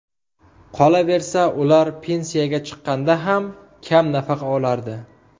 Qolaversa, ular pensiyaga chiqqanda ham kam nafaqa olardi.